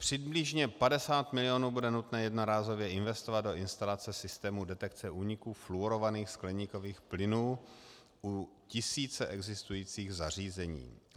Přibližně 50 mil. bude nutné jednorázově investovat do instalace systémů detekce úniků fluorovaných skleníkových plynů u tisíce existujících zařízení.